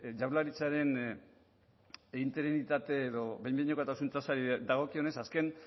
jaurlaritzaren interinitate edo behin behinekotasun tasari dagokionez azken